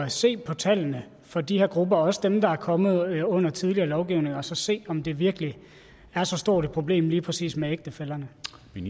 se på tallene for de her grupper også dem der er kommet under tidligere lovgivning og så se om det virkelig er så stort et problem lige præcis med ægtefællerne